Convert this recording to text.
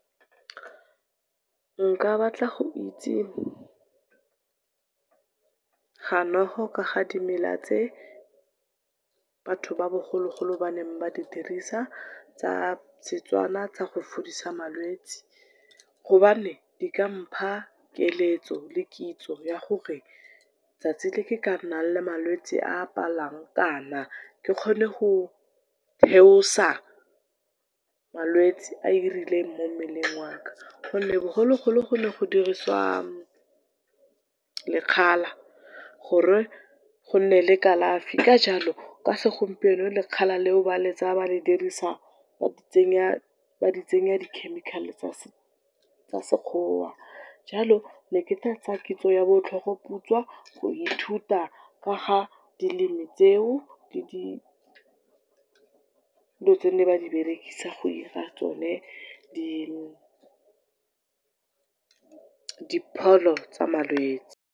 Nka batla go itse ganoeg-o ka ga dimela tse batho ba bogologolo baneng ba di dirisa, tsa seTswana tsa go fodisa malwetse hobane di ka mpha keletso le kitso ya gore tsatsi le nka nnang le malwetse a a palang kana ke kgone go theosa malwetse a rileng mo mmeleng wa ka. Bogologolo go ne go diriswa lekgala gore go nne le kalafi, ka jalo ka segompieno lekgala le o ba le tsaa ba le dirisa go tsenya di chemical-e tsa sekgowa. Jalo ne ke tla tsaa kitso ya bo tlhogoputswa go ithuta ka ga dilemi tseo le dilo tse ne ba di berekisa go ira tsone di pholo tsa malwetse.